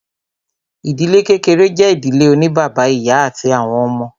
Ìdílé kékeré jẹ́ ìdílé oní bàbá, ìyá àti àwọn ọmọ.